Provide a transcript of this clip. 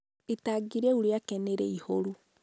itangi rĩu rĩake nĩ rĩihũru.